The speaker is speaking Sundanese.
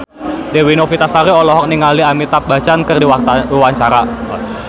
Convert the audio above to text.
Dewi Novitasari olohok ningali Amitabh Bachchan keur diwawancara